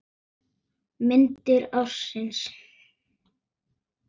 Myndir ársins